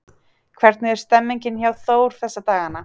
Hvernig er stemmningin hjá Þór þessa dagana?